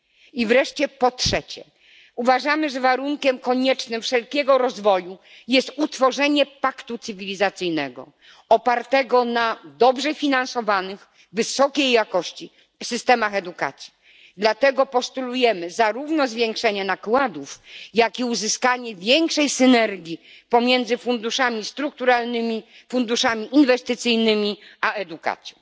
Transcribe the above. I wreszcie po trzecie, uważamy, że warunkiem koniecznym wszelkiego rozwoju jest ustanowienie paktu cywilizacyjnego opartego na dobrze finansowanych wysokiej jakości systemach edukacji. Dlatego postulujemy zarówno zwiększenie nakładów, jak i uzyskanie większej synergii pomiędzy funduszami strukturalnymi, funduszami inwestycyjnymi a edukacją.